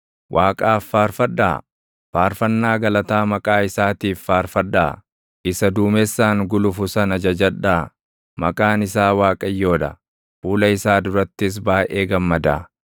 Waaqaaf faarfadhaa; faarfannaa galataa maqaa isaatiif faarfadhaa; isa duumessaan gulufu sana jajadhaa; maqaan isaa Waaqayyoo dha; fuula isaa durattis baayʼee gammadaa.